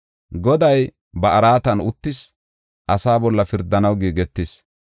Goday ba araatan uttis; asaa bolla pirdanaw giigetis.